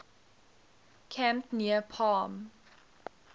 camp near palm